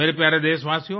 मेरे प्यारे देशवासियों